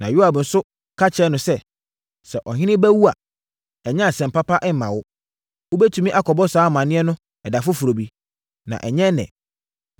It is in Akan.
Na Yoab nso ka kyerɛɛ no sɛ, “Sɛ ɔhene ba awu a, ɛnyɛ asɛm papa mma no. Wobɛtumi akɔbɔ saa amaneɛ no ɛda foforɔ bi, na ɛnyɛ ɛnnɛ.”